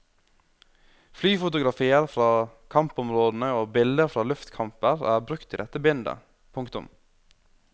Flyfotografier fra kampområdene og bilder fra luftkamper er brukt i dette bindet. punktum